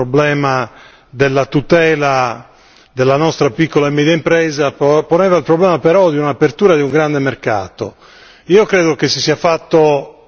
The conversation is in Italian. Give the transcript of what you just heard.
il problema della trasparenza, poneva il problema della tutela della nostra piccola e media impresa, poneva il problema però dell'apertura di un grande mercato.